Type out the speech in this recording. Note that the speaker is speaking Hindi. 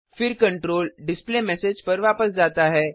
फिर कंट्रोल डिस्प्लेमेसेज पर वापस जाता है